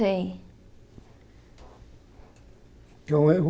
Tem Que é um erro.